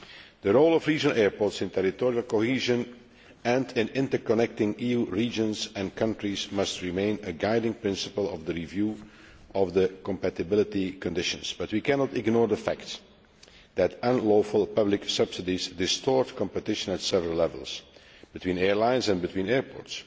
The role of regional airports in territorial cohesion and in interconnecting EU regions and countries must remain a guiding principle of the review of the compatibility conditions, but we cannot ignore the fact that unlawful public subsidies distort competition at several levels between airlines and between airports.